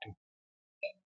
To.